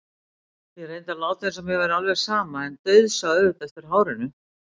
Ég reyndi að láta eins og mér væri alveg sama en dauðsá auðvitað eftir hárinu.